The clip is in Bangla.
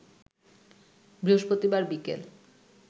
বৃহস্পতিবার বিকেল